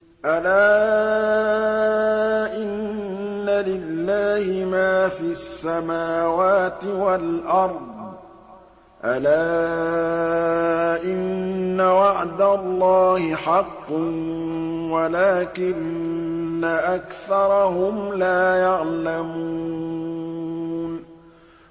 أَلَا إِنَّ لِلَّهِ مَا فِي السَّمَاوَاتِ وَالْأَرْضِ ۗ أَلَا إِنَّ وَعْدَ اللَّهِ حَقٌّ وَلَٰكِنَّ أَكْثَرَهُمْ لَا يَعْلَمُونَ